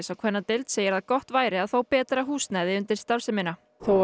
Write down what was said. á kvennadeild segir að gott væri að fá betra húsnæði undir starfsemina